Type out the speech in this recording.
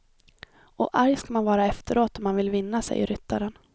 Och arg ska man vara efteråt om man vill vinna, säger ryttaren.